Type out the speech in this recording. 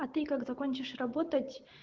а ты как закончишь работать